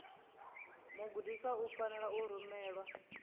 mugudiswa u fanela u rumelwa